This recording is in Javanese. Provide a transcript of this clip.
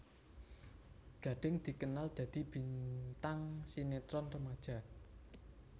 Gading dikenal dadi bintang sinetron remaja